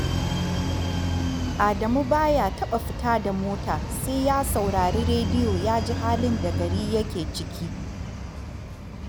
Adamu ba ya taɓa fita da mota sai ya saurari rediyo ya ji halin da gari yake ciki